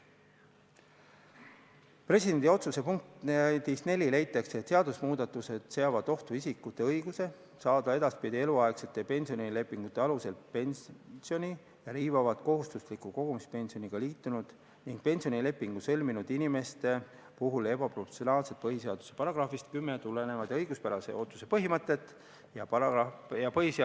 Presidendi otsuse punktis 4 leitakse, et seaduse muutmine seab ohtu isikute õiguse saada edaspidi eluaegsete pensionilepingute alusel pensioni ning riivab kohustusliku kogumispensioniga liitunud ning pensionilepingu sõlminud inimeste puhul ebaproportsionaalselt põhiseaduse §-st 10 tulenevat õiguspärase ootuse põhimõtet ja põhiseaduse §-st 32 tulenevat omandipõhiõigust.